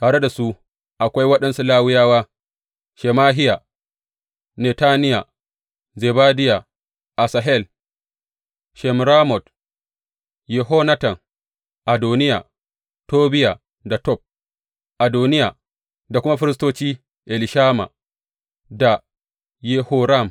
Tare da su akwai waɗansu Lawiyawa, Shemahiya, Netaniya, Zebadiya, Asahel, Shemiramot, Yehonatan, Adoniya, Tobiya da Tob Adoniya, da kuma firistoci Elishama da Yehoram.